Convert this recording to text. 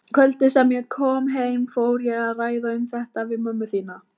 Kvöldið sem ég kom heim fór ég að ræða um þetta við mömmu þína.